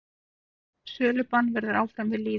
Sölubann verður áfram við lýði.